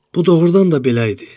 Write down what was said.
Bu doğurdan da belə idi.